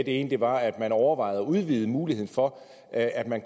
ene var at man overvejede at udvide muligheden for at at man